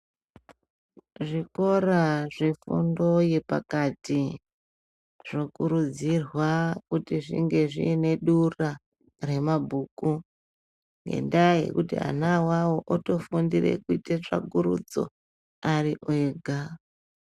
Zvikora zvefundo yepakati zvokurudzirwa kuti zvinge zvine dura remabhuku. Ngendaa yekuti ana avavo votofundire kuite tsvakurudzo ari ega.